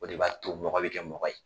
O de b'a to mɔgɔ bɛ kɛ mɔgɔ ye.